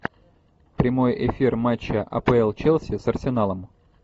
прямой эфир матча апл челси с арсеналом